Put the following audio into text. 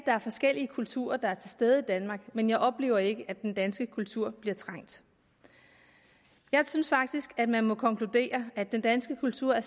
er forskellige kulturer der er til stede i danmark men jeg oplever ikke at den danske kultur bliver trængt jeg synes faktisk at man må konkludere at den danske kultur er